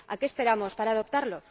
¿A qué esperamos para adoptarlo?